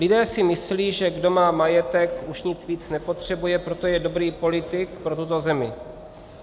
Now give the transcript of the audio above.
Lidé si myslí, že kdo má majetek, už nic víc nepotřebuje, proto je dobrý politik pro tuto zemi.